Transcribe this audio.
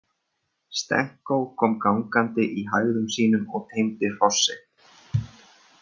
Stenko kom gangandi í hægðum sínum og teymdi hross sitt.